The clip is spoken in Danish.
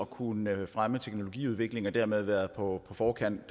kunne fremme teknologiudviklingen og dermed være på forkant